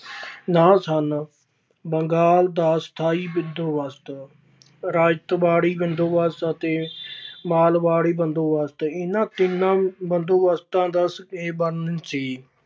ਨਾਂ ਸਨ ਬੰਗਾਲ ਦਾ ਸਥਾਈ ਬੰਦੋਬਸਤ, ਰਾਇਤਵਾੜੀ ਬੰਦੋਬਸਤ ਅਤੇ ਮਾਲਵਾੜੀ ਬੰਦੋਬਸਤ ਇਹਨਾਂ ਤਿੰਨਾਂ ਬੰਦੋਬਸਤਾਂ ਦਾ ਸੀ,